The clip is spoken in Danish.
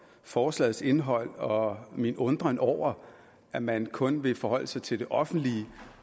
forslagets indhold og min undren over at man kun vil forholde sig til det offentlige